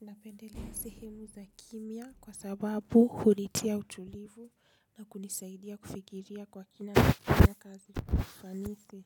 Napendelea sehemu za kimya kwa sababu hunitia utulivu na kunisaidia kufikiria kwa kina na kazi kwa ufanisi.